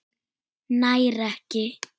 Nær ekki.